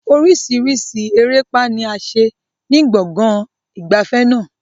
Oríṣiríṣi erépá ni a ṣe ní gbọ̀ngàn ìgbafẹ́ náà.